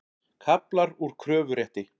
Kaflar úr kröfurétti.